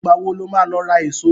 Ìgbà wo ló máa lọ ra èso?